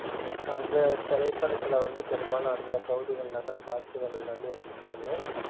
அந்த திரைப்படத்துல வந்து பெரும்பாலும் அந்தப் பகுதிகள்ள தான் காட்சிகள் எல்லாமே எடுத்து இருப்பாங்க.